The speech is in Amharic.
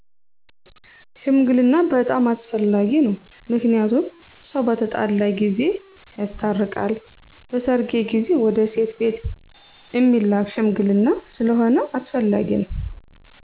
ሽምግልና' በጣም አስፈላጊ ነው ምክንያቱም ሰው በተጣላ ጊዜ ያስታርቃል በሰርጌ ጊዜ ወደ ሴት ቤት እሚላክ ሽምግልና ስለሁነ አስፈላጊ ነው።